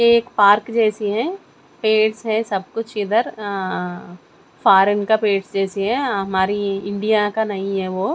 ये एक पार्क जैसी है पेड़स है सब कुछ इधर अं फॉरेन का पेड्स जैसी है हमारी इंडिया का नहीं है वो --